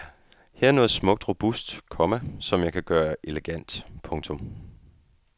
Her er noget smukt robust, komma som jeg kan gøre elegant. punktum